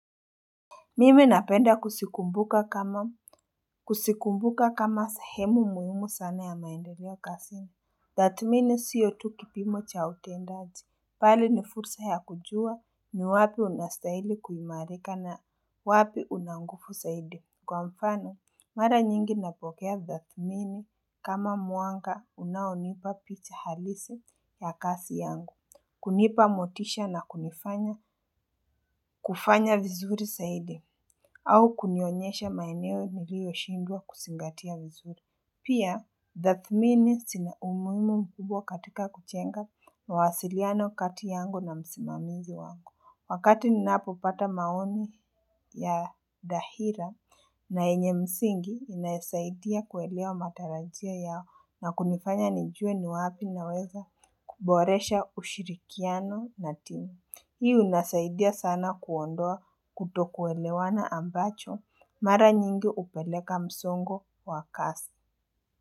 Mimi napenda kusikumbuka kama Kusikumbuka kama sahemu muhimu sana ya maendeleo kazini Tathmini siyo tu kipimo cha utendaji bali ni fursa ya kujua ni wapi unastahili kuimarika na wapi unanguvu zaidi kwa mfano mara nyingi napokea thathmini kama mwanga unaonipa picha halisi ya kazi yangu kunipa motisha na kunifanya kufanya vizuri zaidi au kunionyesha maeneoe niliyoshindwa kuzingatia vizuri. Pia, thathmini zina umuhimu mkubwa katika kujenga mawasiliano kati yangu na msimamizi wangu. Wakati ninapo pata maoni ya dahira na yenye msingi inasaidia kuelewa matarajio yao na kunifanya nijue ni wapi na weza kuboresha ushirikiano na dini. Hii unasaidia sana kuondoa kuto kuelewana ambacho mara nyingi hupeleka msongo wa kasi.